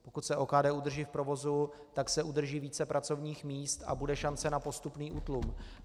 Pokud se OKD udrží v provozu, tak se udrží více pracovních míst a bude šance na postupný útlum.